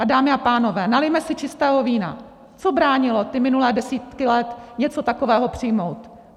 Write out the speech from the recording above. A dámy a pánové, nalijme si čistého vína, co bránilo ty minulé desítky let něco takového přijmout?